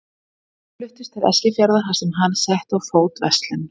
Þau fluttust til Eskifjarðar þar sem hann setti á fót verslun.